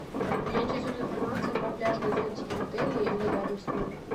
меня интересует информация про пляжные зонтики в отеле или рядом с ним